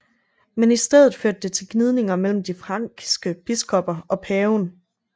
Men i stedet førte det til gnidninger mellem de frankiske biskopper og paven